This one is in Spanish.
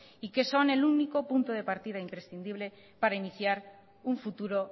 y que son el único punto de partida imprescindible para iniciar un futuro